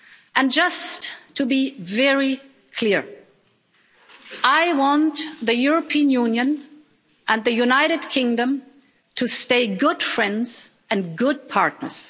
And just to be very clear I want the European Union and the United Kingdom to stay good friends and good partners.